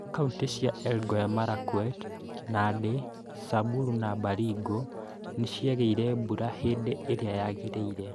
Kauntĩ cia Elgeyo Marakwet, Nandĩ, Samburu na Baringo nĩ ciagĩirie mbura hĩdĩ ĩrĩa yagĩrĩire.